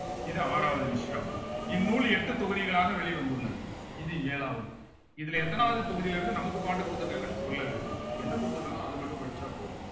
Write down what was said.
இது ஆறாவது விஷயம் இந்நூல் எட்டு தொகுதிகளாக வெளிவந்துள்ளது இது ஏழாவது இதுல எத்தனாவது தொகுதியிலிருந்து நமக்கு பாட்டு கொடுத்திருக்காங்கன்னு சொல்லல என்ன கொடுத்திருக்காங்களோ அத மட்டும் படிச்சா போதும்